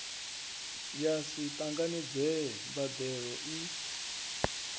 ya si tanganedzee mbandelo i